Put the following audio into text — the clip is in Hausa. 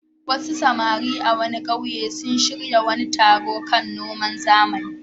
Wasu samari manoma a wani ƙauye sun shirya wani taro kan noman zamani.